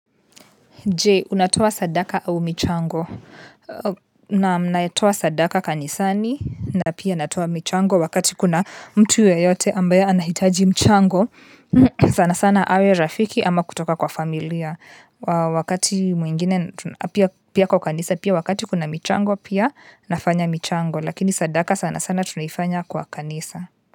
Je, unatoa sadaka au michango. Naam naitoa sadaka kanisani na pia natoa michango wakati kuna mtu yeyote ambaye anahitaji mchango. Sana sana awe rafiki ama kutoka kwa familia wakati mwiingine pia kwa kanisa, pia wakati kuna michango pia nafanya michango. Lakini sadaka sana sana tunaifanya kwa kanisa.